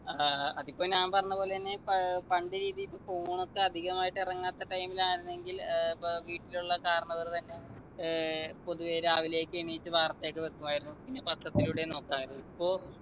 ആഹ് അതിപ്പോ ഞാൻ പറഞ്ഞപോലെ എന്നെ പ പണ്ട് രീതി ഇപ്പൊ phone ഒക്കെ അധികമായിട്ട് ഇറങ്ങാത്ത time ലായിരുന്നെങ്കിൽ ഏർ ഇപ്പൊ വീട്ടിലുള്ള കാരണവർ തന്നെ ഏർ പൊതുവെ രാവിലെയൊക്കെ എണീറ്റ് വാർത്തയൊക്കെ വെക്കുമായിരുന്നു പിന്നെ പത്രത്തിലൂടെ നോക്കാലോ ഇപ്പൊ